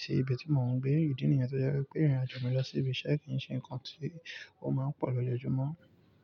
sí ibi tí mò ń gbé. Ìdí nìyẹn tó jẹ́ wípé nígbà tí mo bá ń lọ sí ibi iṣẹ́ kí n ṣe ǹkan tí ó ma ń pọ̀ lójoojúmọ́.